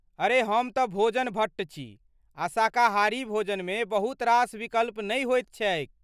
अरे हम तँ भोजन भट्ट छी आ शाकाहारी भोजनमे बहुतरास विकल्प नहि होइत छैक।